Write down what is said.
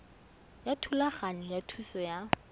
ya thulaganyo ya thuso ya